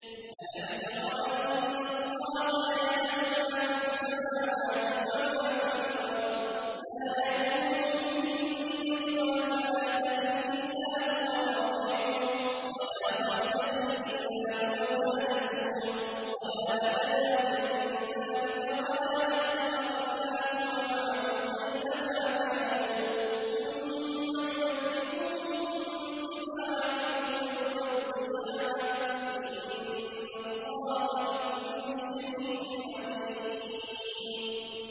أَلَمْ تَرَ أَنَّ اللَّهَ يَعْلَمُ مَا فِي السَّمَاوَاتِ وَمَا فِي الْأَرْضِ ۖ مَا يَكُونُ مِن نَّجْوَىٰ ثَلَاثَةٍ إِلَّا هُوَ رَابِعُهُمْ وَلَا خَمْسَةٍ إِلَّا هُوَ سَادِسُهُمْ وَلَا أَدْنَىٰ مِن ذَٰلِكَ وَلَا أَكْثَرَ إِلَّا هُوَ مَعَهُمْ أَيْنَ مَا كَانُوا ۖ ثُمَّ يُنَبِّئُهُم بِمَا عَمِلُوا يَوْمَ الْقِيَامَةِ ۚ إِنَّ اللَّهَ بِكُلِّ شَيْءٍ عَلِيمٌ